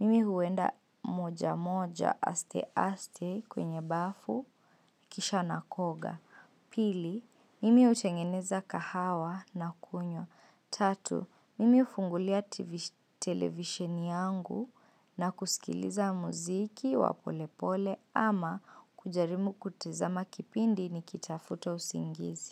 mimi huenda moja moja aste aste kwenye bafu, kisha na koga. Pili, mimi utengeneza kahawa na kunyo. Tatu, mimi hufungulia televisheni yangu na kusikiliza muziki wa pole pole ama kujaribu kutazama kipindi nikitafuta usingizi.